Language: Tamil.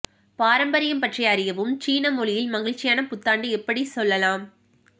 பாரம்பரியம் பற்றி அறியவும் சீன மொழியில் மகிழ்ச்சியான புத்தாண்டு எப்படி சொல்லலாம்